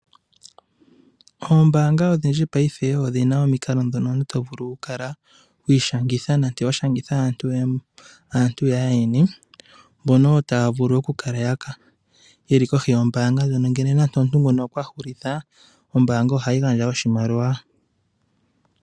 Oombaanga odhindji paife odhi na omikalo ndhono omuntu to vulu okukala wa ishangitha nenge wa shangitha aantu yaayeni , mbono oyo taya vulu okukala ye li kohi yombaanga ndjono, uuna nenge omuntu okwa hulitha ombaanga oha yi gandja oshimaliwa.